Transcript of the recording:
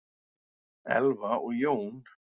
Elfa og Jón.